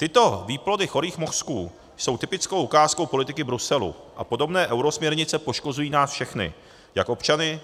Tyto výplody chorých mozků jsou typickou ukázkou politiky Bruselu, a podobné eurosměrnice poškozují nás všechny - jak občany,